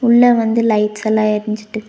உள்ள வந்து லைட்ஸ் எல்லா எருஞ்சுட்டுக்கு.